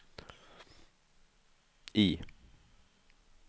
I